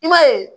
I b'a ye